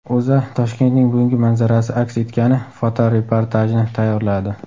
O‘zA Toshkentning bugungi manzarasi aks etgani fotoreportajni tayyorladi .